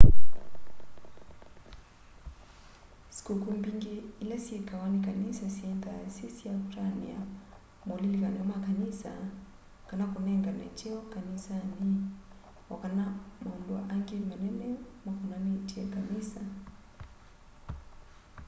sĩkũkũ mbingĩ ila syĩkawa nĩ kanĩsa syĩnthaa syĩ sya kũtanĩa maũlĩlĩkanyo ma kanĩsa kana kũnengana kyeo kanĩsanĩ o kana maũndĩ a ngĩ manene makonanĩtye kanĩsa